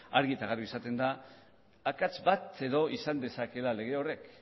argi eta garbi izaten da akats bat edo izan dezakeela lege horrek